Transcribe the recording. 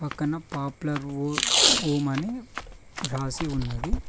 పక్కన popular home అని రాసి ఉంది.